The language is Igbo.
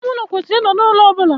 Ime ulo kwesiri I no n'ulo obula.